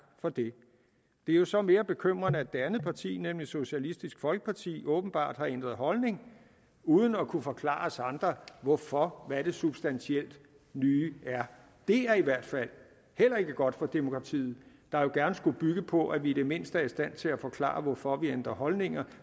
for det det er jo så mere bekymrende at det andet parti nemlig socialistisk folkeparti åbenbart har ændret holdning uden at kunne forklare os andre hvorfor og hvad det substantielt nye er det er i hvert fald heller ikke godt for demokratiet der jo gerne skulle bygge på at vi i det mindste er i stand til at forklare hvorfor vi ændrer holdninger